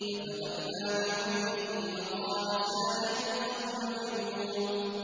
فَتَوَلَّىٰ بِرُكْنِهِ وَقَالَ سَاحِرٌ أَوْ مَجْنُونٌ